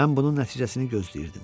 Mən bunun nəticəsini gözləyirdim.